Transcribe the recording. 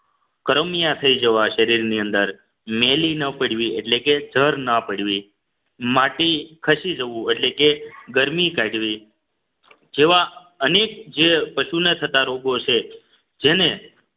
કરમિયા થઈ જવા શરીરની અંદર મેલી ન પડવી એટલે કે જર ના પડવી માટે ખસી જવું એટલે કે ગરમી કાઢવી જેવા અનેક જે પશુના થતા રોગો છે જેને